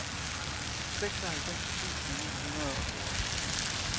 seksoghalvfems tusind ni hundrede og tooghalvfjerds